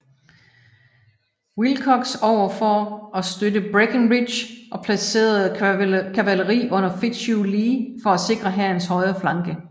Wilcox over for at støtte Breckinridge og placerede kavaleri under Fitzhugh Lee for at sikre hærens højre flanke